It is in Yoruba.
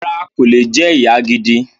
Rárá, kò lè jẹ ìyá gidi